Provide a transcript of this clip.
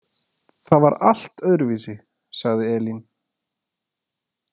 Það var allt öðruvísi, sagði Elín.